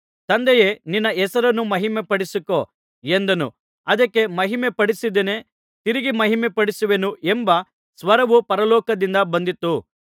ತಂದೆಯೇ ನಿನ್ನ ಹೆಸರನ್ನು ಮಹಿಮೆಪಡಿಸಿಕೋ ಎಂದನು ಅದಕ್ಕೆ ಮಹಿಮೆಪಡಿಸಿದ್ದೇನೆ ತಿರುಗಿ ಮಹಿಮೆಪಡಿಸುವೆನು ಎಂಬ ಸ್ವರವು ಪರಲೋಕದಿಂದ ಬಂದಿತು